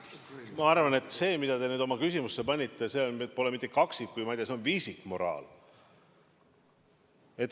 Ma arvan, et see, mida te oma küsimusse panite, pole mitte kaksikmoraal, vaid, ma ei tea, see on viisikmoraal.